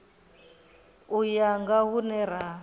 u ya nga hune ra